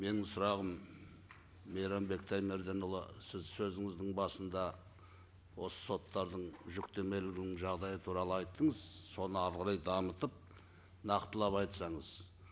менің сұрағым мейрамбек таймерденұлы сіз сөзіңіздің басында осы соттардың жүктемелігінің жағдайы туралы айттыңыз соны әрі қарай дамытып нақтылап айтсаңыз